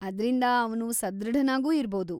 ಅದ್ರಿಂದ ಅವ್ನು ಸದೃಢನಾಗೂ ಇರ್ಬೌದು.